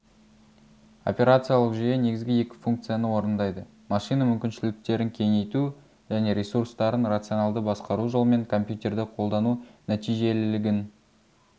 операциялық жүйе негізгі екі функцияны орындайды машина мүмкіншіліктерін кеңейту және ресурстарын рационалды басқару жолымен компьютерді қолдану нәтижелілігін